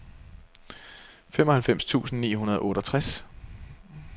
femoghalvfems tusind ni hundrede og otteogtres